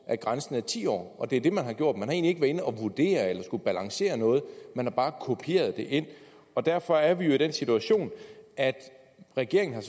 at grænsen er ti år det er det man har gjort man har egentlig inde og vurdere eller balancere noget man har bare kopieret det ind derfor er vi jo i den situation at regeringen